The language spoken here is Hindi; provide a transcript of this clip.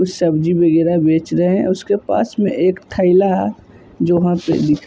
कुछ सब्जी वगेैरह बेच रहे हैं उसके पास में एक थेैला जो वहाँ पे दिख --